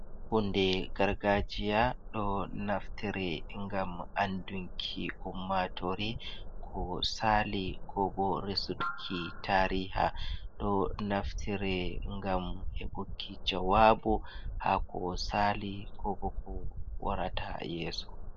Huunde gargajiya ɗo naftire ngam andunki ummaatori ko sali ko bo resuuki tariha. Ɗo naftire ngam heɓuki jawaabu ha ko saali ko bo ko waarata yeeso.